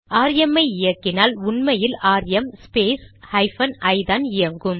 RM ஐ இயக்கினால் உண்மையில் ஆர்எம் ஸ்பேஸ் ஹைபன் ஐ தான் இயங்கும்